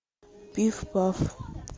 пиф паф